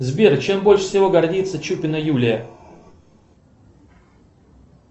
сбер чем больше всего гордится чупина юлия